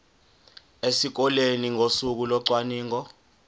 esikoleni ngosuku locwaningo